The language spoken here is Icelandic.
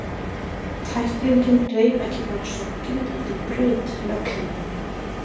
Tæklingin reif ekki bara sokkinn, heldur braut legghlífina.